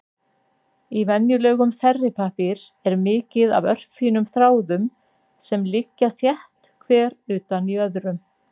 Í venjulegum þerripappír er mikið af örfínum þráðum sem liggja þétt hver utan í öðrum.